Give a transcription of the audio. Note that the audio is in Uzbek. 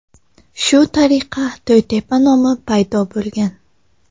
Shu tariqa To‘ytepa nomi paydo bo‘lgan.